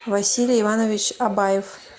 василий иванович абаев